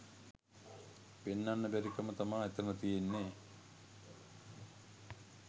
පෙන්නන්න බැරි කම තමා එතන තියෙන්නේ.